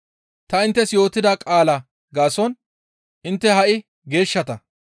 Ta inttes yootida qaalaa gaason intte ha7i geeshshata.